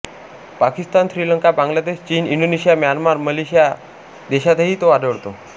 पाकिस्तान श्रीलंका बांगलादेश चीन Indonesia Myanmar Malaysia या देशातही तो आढळतो